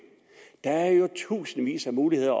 der er jo tusindvis af muligheder